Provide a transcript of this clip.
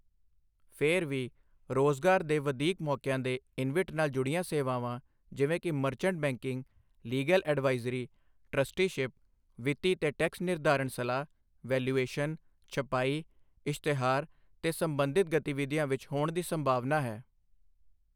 ਫਿਰ ਵੀ, ਰੋਜਗਾਰ ਦੇ ਵਧੀਕ ਮੌਕਿਆਂ ਦੇ ਇਨਵਿਟ ਨਾਲ ਜੁੜੀਆਂ ਸੇਵਾਵਾਂ, ਜਿਵੇਂ ਕਿ merchant banking, legal advisory, trusteeship, ਵਿੱਤੀ ਤੇ ਟੈਕਸ ਨਿਰਧਾਰਣ ਸਲਾਹ, ਵੈਲਿਊਏਸ਼ਨ, ਛਪਾਈ, ਇਸ਼ਤਿਹਾਰ ਤੇ ਸਬੰਧਿਤ ਗਤੀਵਿਧੀਆਂ ਵਿੱਚ ਹੋਣ ਦੀ ਸੰਭਾਵਨਾ ਹੈ।